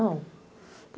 Não.